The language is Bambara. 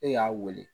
E y'a wele